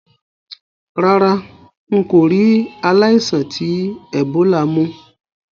Rárá, n kò ri aláìsàn ti Ebola mú